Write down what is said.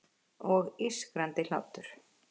Og ískrandi hlátur.